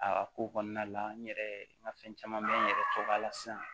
A ko kɔnɔna la n yɛrɛ n ka fɛn caman bɛ n yɛrɛ tɔgɔ la sisan